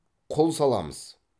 құл саламыз